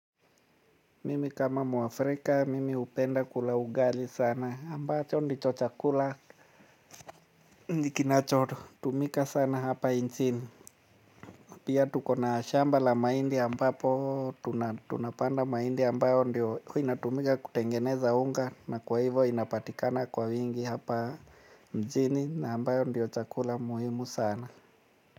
Mimi kama mwafrika, mimi hupenda kula ugali sana, ambacho ndicho chakula. Ni kinacho tumika sana hapa nchini. Pia tuko na shamba la maindi ambapo tunapanda mahindi ambayo ndiyo inatumika kutengeneza unga na kwa hivyo inapatikana kwa wingi hapa mjini na ambayo ndio chakula muhimu sana.